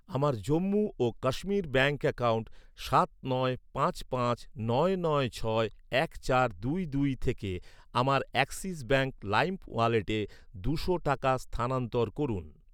আমার জম্মু ও Kashmir bank account সাত নয় পাঁচ পাঁচ নয় নয় ছয় এক চার দুই দুই থেকে আমার অ্যাক্সিস ব্যাঙ্ক লাইম ওয়ালেটে দুশো টাকা স্থানান্তর করুন।